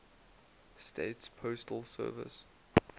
states postal service